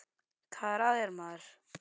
Hvað er að þér, maður?